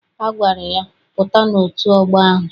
Ọ gwara ya, pụta n'otu ọgbọ ahụ!